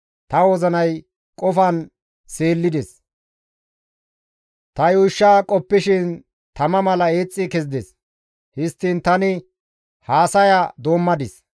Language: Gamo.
Ta wozinay qofan seellides; ta yuushsha qoppishin tama mala eexxi kezides. Histtiin tani haasaya doommadis.